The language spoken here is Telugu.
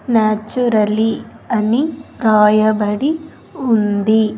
న్యాచురలీ అని రాయబడి ఉంది.